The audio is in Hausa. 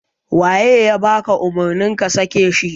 Waye ya baka umurni ka sake shi?